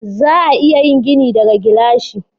Za a iya yin gini daga gilashi.